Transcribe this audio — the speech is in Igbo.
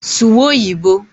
Suwa Oyiboǃ